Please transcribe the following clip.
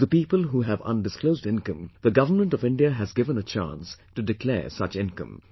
To the people who have undisclosed income, the Government of India has given a chance to declare such income